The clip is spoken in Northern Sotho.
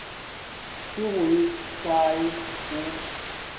se go ye kae o